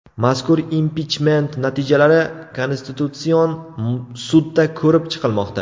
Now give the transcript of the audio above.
Mazkur impichment natijalari Konstitutsion sudda ko‘rib chiqilmoqda.